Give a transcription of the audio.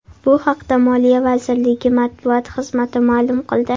Bu haqda Moliya vazirligi matbuot xizmati ma’lum qildi .